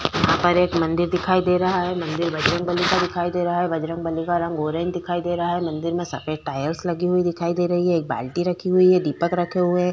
ऊपर एक मंदिर दिखाई दे रहा है। मंदिर बजरंगबली का दिखाई दे रहा है। बजरंगबली का रंग ऑरेंज दिखाई दे रहा है। मंदिर में सफेद टाइल्स लगी हुई दिखाई दे रही है। एक बाल्टी रखी हुई है। दीपक रखे हुए।